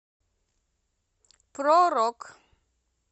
про рок